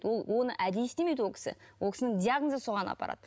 ол оны әдейі істемейді ол кісі ол кісінің диагнозы соған апарады